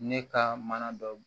Ne ka mana dɔ